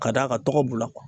Ka d'a ka tɔgɔ b'u la